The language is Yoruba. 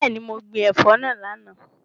Bẹẹni, mo gbin ẹ̀fọ́ náà lánàá.